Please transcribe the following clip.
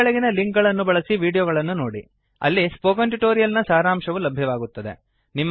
ಈ ಕೆಳಗಿನ ಲಿಂಕ್ ಗಳನ್ನು ಬಳಸಿ ವೀಡಿಯೋಗಳನ್ನು ನೋಡಿ ಅಲ್ಲಿ ಸ್ಪೋಕನ್ ಟ್ಯುಟೋರಿಯಲ್ ನ ಸಾರಾಂಶವು ಲಭ್ಯವಾಗುತ್ತದೆ